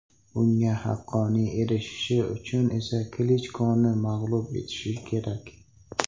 Bunga haqqoniy erishishi uchun esa Klichkoni mag‘lub etishi kerak.